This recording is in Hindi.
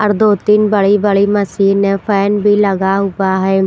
और दो तीन बड़ी बड़ी मशीन है फैन भी लगा हुआ है।